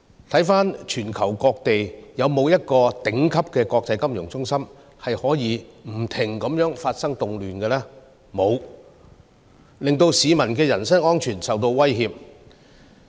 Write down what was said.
回看全球各地，有沒有一個頂級的國際金融中心，可以不停地發生動亂，令市民的人身安全受到威脅？